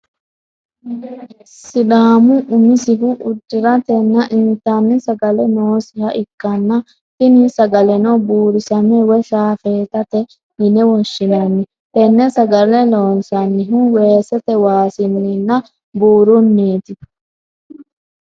Sidaamu umisihu udiratenna intanni sagale noosiha ikanna tini sagaleno buurisame woyi shaafeetate yine woshinanni tene sagale loonsanihu weesete waasinninna buurunniti.